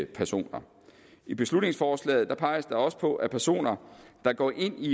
personer i beslutningsforslaget peges der også på at personer der går ind i